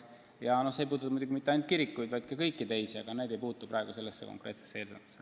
Ja see ei käi muidugi ainult kirikute kohta, see puudutab ka muid objekte, aga need ei puutu sellesse konkreetsesse eelnõusse.